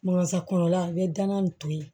kɔnɔla i bɛ gana in to yen